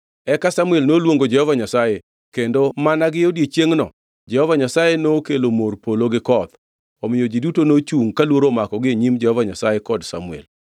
Eka Samuel noluongo Jehova Nyasaye, kendo mana gi odiechiengʼno Jehova Nyasaye nokelo mor polo gi koth. Omiyo ji duto nochungʼ ka luoro omakogi e nyim Jehova Nyasaye kod Samuel.